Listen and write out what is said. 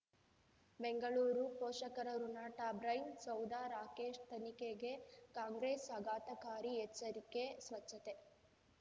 ಬೆಂಗಳೂರು ಪೋಷಕರಋಣ ಟಬ್ರೈನ್ ಸೌಧ ರಾಕೇಶ್ ತನಿಖೆಗೆ ಕಾಂಗ್ರೆಸ್ ಆಘಾತಕಾರಿ ಎಚ್ಚರಿಕೆ ಸ್ವಚ್ಛತೆ